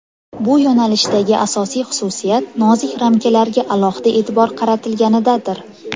Bu yo‘nalishdagi asosiy xususiyat nozik ramkalarga alohida e’tibor qaratilganidadir.